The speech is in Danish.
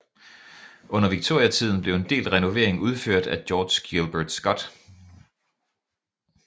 Under Viktoriatiden blev en del renovering udført af George Gilbert Scott